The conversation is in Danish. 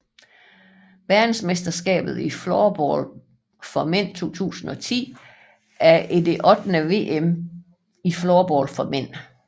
Verdensmesterskabet i floorball for mænd 2010 er det ottende VM i floorball for mænd